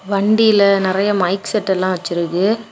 வண்டில நெறய மைக் செட்டெல்லாம் வச்சிருக்கு.